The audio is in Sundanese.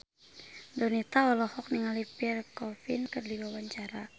Donita olohok ningali Pierre Coffin keur diwawancara